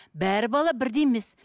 бар бала бірдей емес